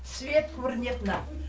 свет көрінеді мына